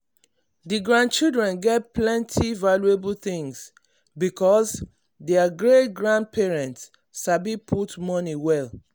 the grandchildren get plenty um valuable things because their great-grandparents sabi um put um money well.